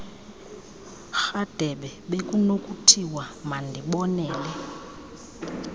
rhadebe bekunokuthiwa mandibonele